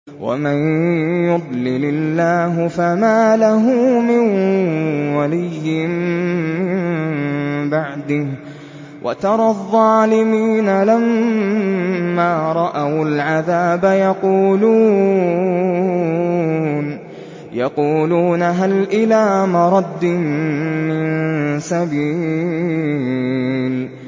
وَمَن يُضْلِلِ اللَّهُ فَمَا لَهُ مِن وَلِيٍّ مِّن بَعْدِهِ ۗ وَتَرَى الظَّالِمِينَ لَمَّا رَأَوُا الْعَذَابَ يَقُولُونَ هَلْ إِلَىٰ مَرَدٍّ مِّن سَبِيلٍ